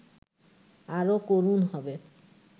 আরও করুণ হবে